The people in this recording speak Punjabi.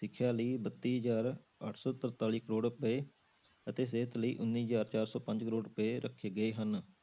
ਸਿੱਖਿਆ ਲਈ ਬੱਤੀ ਹਜ਼ਾਰ ਅੱਠ ਸੌ ਤਰਤਾਲੀ ਕਰੌੜ ਰੁਪਏ ਅਤੇ ਸਿਹਤ ਲਈ ਉੱਨੀ ਹਜ਼ਾਰ ਚਾਰ ਸੌ ਪੰਜ ਕਰੌੜ ਰੁਪਏ ਰੱਖੇ ਗਏ ਹਨ,